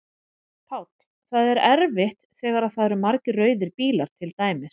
Páll: Það er erfitt þegar að það eru margir rauðir bílar til dæmis?